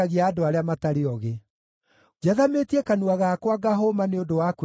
Njathamĩtie kanua gakwa ngahũma nĩ ũndũ wa kwĩrirĩria maathani maku.